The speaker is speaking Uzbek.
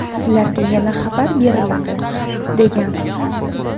Sizlarga yana xabar beriladi”, degan.